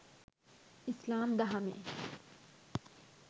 ඉස්ලාම් දහමේ